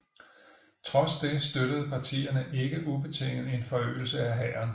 Trods det støttede partierne ikke ubetinget en forøgelse af hæren